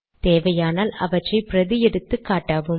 தேவையானால் அவற்றை பிரதி எடுத்து காட்டவும்